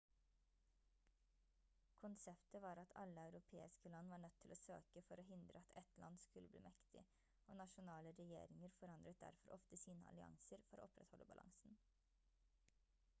konseptet var at alle europeiske land var nødt til å søke for å hindre at ett land skulle bli mektig og nasjonale regjeringer forandret derfor ofte sine allianser for å opprettholde balansen